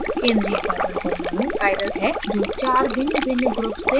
केंद्रीय carbon परमाणु chiral है जो 4 भिन्नभिन्न ग्रुप्स से जुड़ा हुआ है